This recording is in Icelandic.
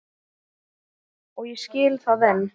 Og ég skil það enn.